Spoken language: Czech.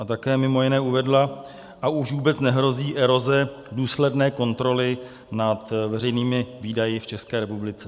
- A také mimo jiné uvedla: A už vůbec nehrozí eroze důsledné kontroly nad veřejnými výdaji v České republice.